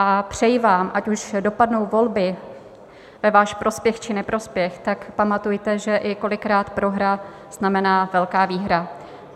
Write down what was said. A přeji vám, ať už dopadnou volby ve váš prospěch, či neprospěch, tak pamatujte, že i kolikrát prohra znamená velká výhra.